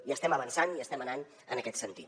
hi estem avançant i estem anant en aquest sentit